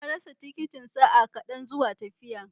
Na rasa tikitin sa'a kaɗan zuwa tafiya.